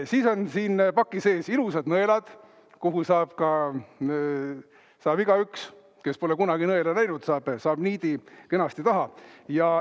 Selle paki sees on ilusad nõelad, millele saab ka igaüks, kes pole kunagi nõela näinud, niidi kenasti taha.